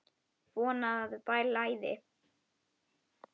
Von að það blæði!